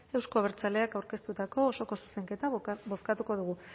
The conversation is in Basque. euzko abertzaleak aureztutako osoko zuzenketa bozkatuko dugu